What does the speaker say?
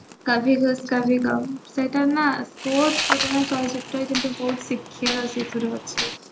କଭି ଖୁସି କଭି ଗମ୍ ସେଇଟା ନା ବହୁତ ପୁରୁଣା ଚଳଚିତ୍ର କିନ୍ତୁ ବହୁତ ଶିଖିବାର ସେଇଥିରୁ ଅଛି